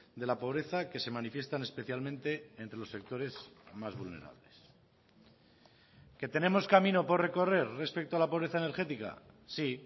de la pobreza que se manifiestan especialmente entre los sectores más vulnerables que tenemos camino por recorrer respecto a la pobreza energética sí